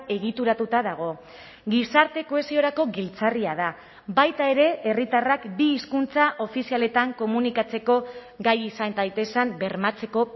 egituratuta dago gizarte kohesiorako giltzarria da baita ere herritarrak bi hizkuntza ofizialetan komunikatzeko gai izan daitezen bermatzeko